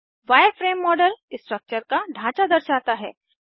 wireframe model structure का ढांचा दर्शाता है